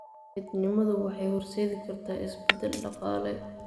Midnimadu waxay horseedi kartaa isbeddel dhaqaale.